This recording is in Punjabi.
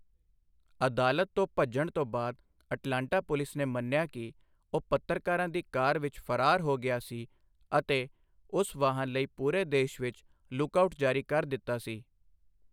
ਅਦਾਲਤ ਤੋਂ ਭੱਜਣ ਤੋਂ ਬਾਅਦ ਅਟਲਾਂਟਾ ਪੁਲਿਸ ਨੇ ਮੰਨਿਆ ਕਿ ਉਹ ਪੱਤਰਕਾਰਾਂ ਦੀ ਕਾਰ ਵਿੱਚ ਫਰਾਰ ਹੋ ਗਿਆ ਸੀ ਅਤੇ ਉਸ ਵਾਹਨ ਲਈ ਪੂਰੇ ਦੇਸ਼ ਵਿੱਚ 'ਲੁੱਕ ਆਊਟ' ਜਾਰੀ ਕਰ ਦਿੱਤਾ ਸੀ।